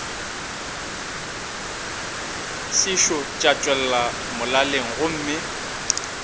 sešo tša tšwela molaleng gomme